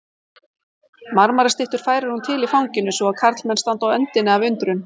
Marmarastyttur færir hún til í fanginu svo að karlmenn standa á öndinni af undrun.